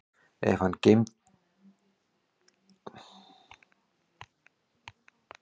Ef hann geymir þær í skólatöskunni sinni tekur þú þær núna